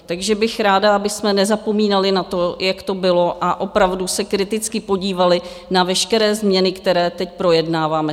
Takže bych ráda, abychom nezapomínali na to, jak to bylo, a opravdu se kriticky podívali na veškeré změny, které teď projednáváme.